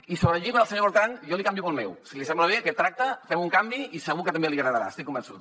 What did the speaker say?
i sobre el llibre del senyor botran jo li canvio pel meu si li sembla bé aquest tracte fem un canvi i segur que també li agradarà n’estic convençut